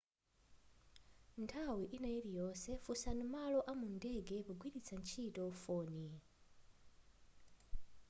nthawi ina iliyonse funsani malo amundege pogwiritsa ntchito foni